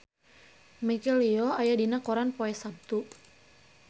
Michelle Yeoh aya dina koran poe Saptu